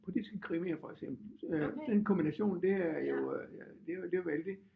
Politiske krimier for eksempel øh den kombination det er jo øh ja det jo det jo vældig